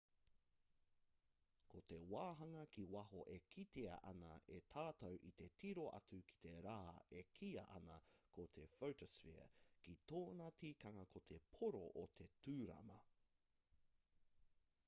ko te wāhanga ki waho e kitea ana e tātou i te tiro atu ki te rā e kīia ana ko te photosphere ko tōna tikanga ko te pōro o te tūrama